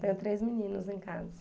Tenho três meninos em casa.